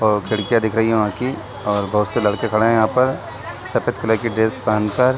और खिड़कीयां दिख रही हैं वहाँ की और बहुत से लड़के खड़े है यहाँ पर सफेद कलर की ड्रेस पहन कर --